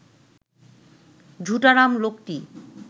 ঝুটারাম লোকটি